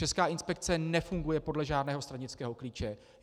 Česká inspekce nefunguje podle žádného stranického klíče.